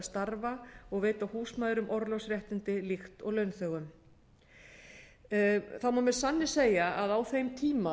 starfa og veita húsmæðrum orlofsréttindi líkt og launþegum það má með sanni segja að á þeim tíma